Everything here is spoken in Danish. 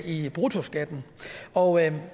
i bruttoskatten og